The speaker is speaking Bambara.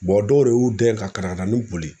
dɔw de y'u den ka katakatani boli